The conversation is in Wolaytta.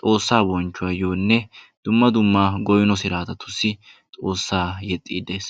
Xoossaa bonchchuwayyonne dumma dumma goynno siratatussi xoossaa yeexide des.